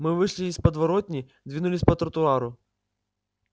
мы вышли из подворотни двинулись по тротуару